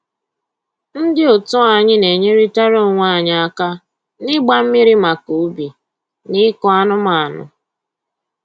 Ndị otu anyị na-enyeritara onwe anyị aka na-ịgba mmiri maka ubi na ịkụ anụmanụ